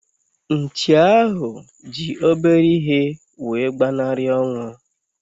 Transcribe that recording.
Nchi ahu ji obere ihe wee gbanari onwu